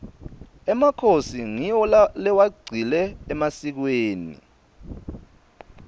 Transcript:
emakhosi ngiwo lewagcile emasikweni